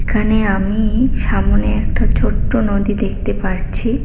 এখানে আমি সামোনে একটা ছোট্ট নদী দেখতে পারছি।